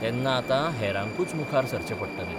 तेन्ना आतां हेरांकूच मुखार सरचें पडटलें.